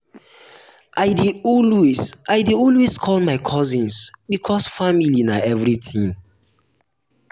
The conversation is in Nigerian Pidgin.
i dey always i dey always call my cousins because family na everytin